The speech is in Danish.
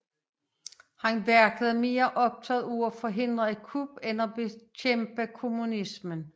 Han virkede mere optaget af at forhindre et kup end af at bekæmpe kommunismen